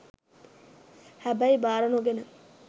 හැබැයි බාර නොගෙන